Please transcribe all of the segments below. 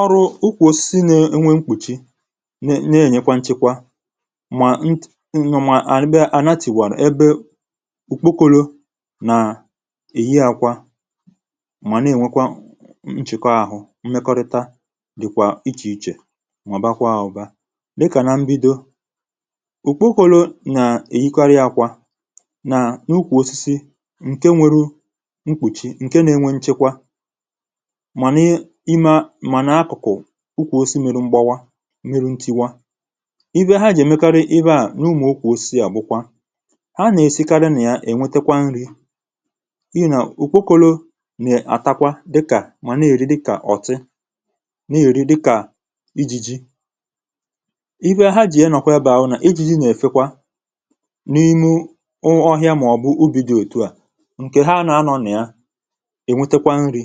ọrụ̇ ụkwụ̇sị na-enwe mkpùchi na-enyekwa nchekwa mà ntì mà ànyị bịa ànatiwàrà ebe ùkpokolo nà-èyi àkwa mà na-ènwekwa nchekwa ahụ̇ mmekọrịta dị̀kwà ichè ichè nwọ̀bakwa àọ̀bȧ dịkà nà mbido ùkpokolo nà-èyikarị akwà nà n’ukwù ọsịsị ǹke nwere mkpùchì ǹke na-enwe nchekwa ukwù osimerụ mgbawa merụ ntiwa iwe ha ji èmekarị iwe à n’ụmụ̀ ụkwụ̇ osi àgbụkwa ha nà-èsikarị nà ya ènwetekwa nri̇ ihe nà ùkwokȯlȯ nà-àtakwa dịkà mà na-èri dịkà ọ̀tị na-èri dịkà ijiji iwe ha jì ya nọ̀kwa ya bụ̀ ọ na ijiji nà-èfekwa n’ime ọhịa màọ̀bụ̀ ubì dị̀ ètu à ǹkè ha nà-anọ̇ nà ya ènwetekwa nri̇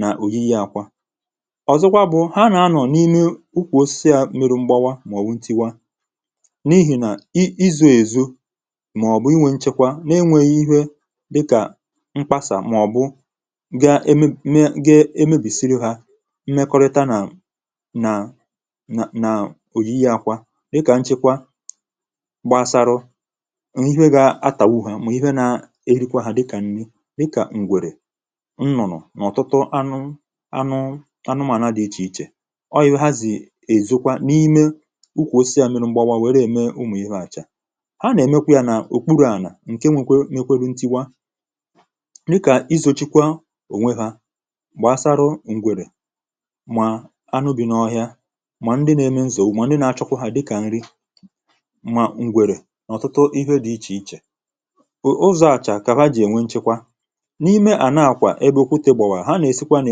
nà òyì yi akwa ọ̀zọkwa bụ̀ ha nà anọ̀ n’ime ụkwụ̇ osisi à meru mgbawa mà ọ̀ wụ ntiwa n’ihi nà izu̇ èzụ mà ọ̀ bụ̀ inwė nchekwa nà-enwėghi ihė dịkà mkpasà mà ọ̀ bụ ga eme me ga emebisịrị hȧ mmekọrịta nà nà nà òyì yi akwa dịkà nchekwa gbasarụ n’ọ̀tụtụ anụ anụ anụmànà dị̀ ichè ichè ọyị̀hụ̀ ha zì èzụkwa n’ime ụkwụ̇ osisi à mịrụ mgbawa wère ème ụmụ̀ ihu̇ àchà ha nà-èmekwa yȧ n’òkpurù ànà ǹke nwekwe n’ekweri ntiwa yị kà izòchikwa ònwe hȧ gbàsara ǹgwèrè mà anụ bì n’ọhịa mà ndị nà-eme nzọ̀ mà ndị nà-achọkwa hȧ dịkà nrị mà ǹgwèrè n’ọ̀tụtụ ihe dị̇ ichè ichè ụzọ̇ àchà kà ha jì ènwe nchekwa ǹke à bụ̀ ihe à na-àkwa e bè òkwutė gbòwàrà ha nà-èsikwa nà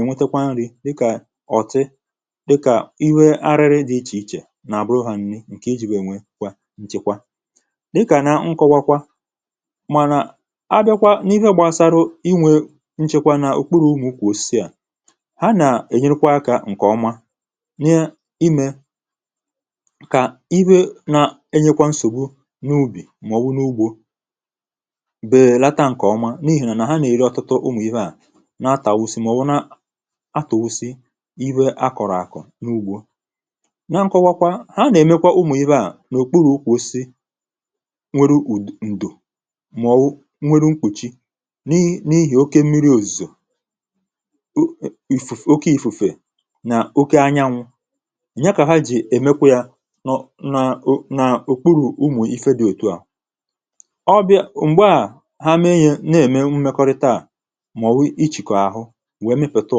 ẹ̀nwẹtẹkwa nri̇ dịkà ọ̀tị dịkà ihe arịrị dị ichè ichè nà àbụrụ hȧ nni ǹkè i jì nwèènwè nchẹkwa dịkà nà nkọwakwa mànà abịakwa n’ihu gbàsarụ inwė nchẹkwa n’ukpuru umù kwà osisi à ha nà-ènyekwa akȧ ǹkè ọma nà imè kà iwe na-enyekwa nsògbu n’ubì mà ọ̀ wụ̀ n’ugbȯ àtụ̀wụ̀sì iwe akọ̀rọ̀ àkọ̀ n’ugbȯ na nkọwakwa ha nà-èmekwa ụmụ̀ibė à n’òkpurù kwụ̀sị nwere ǹdò mọ̀wụ̀ nwere mkpùchì n’ihì oke mmiri̇ òzìzò oke ìfùfè nà oke anyanwụ̇ nya kà ha jì èmekwa yȧ nà ụnọ̀ nà òkpuru̇ ụmụ̀ifè dị òtù ahụ̀ ọ bịa ụ̀gbọ à ha mee yė na-ème mmekọrịta à wèe mepètà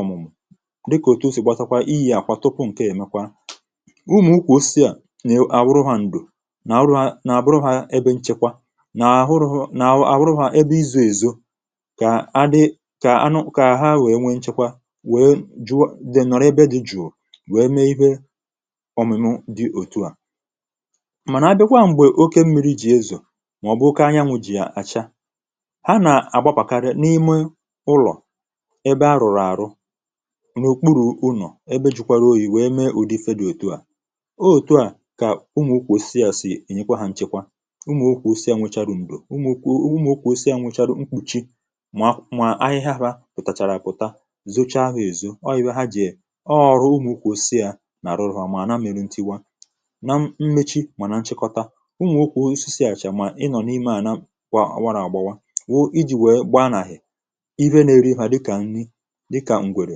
ọ̀mụ̀mụ̀ dịkà òtù osì gbatakwa iyi̇ àkwa tupu ǹke èmekwa umù ụkwụ̀ osisi à nè àwụrụ hȧ ǹdù nà àwụrụ hȧ nà àbụrụ hȧ ebe nchekwa nà àhụrụ hȧ nà àwụrụ hȧ ebe izù èzò kà a dị kà anụ kà ha wèe nchekwa wèe jụọ dị̀ nọ̀rọ ebe dị̇ jụụ wèe mee ihe òmìmì dị òtù à mànà abịikwa m̀gbè oke mmiri̇ jì ezò màọ̀bụ̀ oke anyanwụ̇ jì àchà n’òkpurù ụnọ̀ ebe jụkwarụ oyì wèe mee ụdị fe dị òtù a o òtù a kà ụmụ̀ ukwù osisi à sì ẹ̀nyẹkwa hȧ nchẹkwa ụmụ̀ okwù osisi à nwechàrụ̀ m̀gbè ụmụ̀ okwù osisi à nwechàrụ̀ mkpùchi mà ahịhịa ghȧ pùtàchàrà pùta zochaa hȧ èzo ọ yė ha jì ọọ̀rụ ụmụ̀ okwù osisi à nàrụrụ mà nà mẹrẹ ntiwa na mmechi mà nà nchẹkọta ụmụ̀ okwù osisi àchà mà ịnọ̀ n’ime à na kwa warà agbawa wụ̀ ijì wèe gba nàhị̀ dịkà ǹri dịkà ǹgwèrè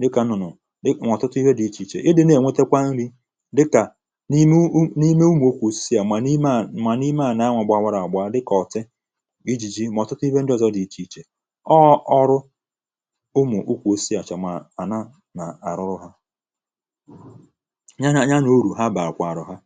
dịkà ǹnụ̀nụ̀ nọ̀ọ̀ tụtụ ihe dị̇ ichè ichè ị dị̇ na-ènwetekwa ǹri dịkà n’ime ụmụ̀ n’ime ụmụ̀ okwu osisi à mà n’ime à nwà n’ime à na-anwụ̇ gbawàrà àgbà dịkà ọ̀tị iji̇ ji mà ọ̀ tụtụ ihe ndị ọ̀zọ dị̇ ichè ichè ọọ̀ ọrụ ụmụ̀ okwu osisi àchà mà àna nà-àrụ ha nya na ànya nà urù ha bè àkwàrà ha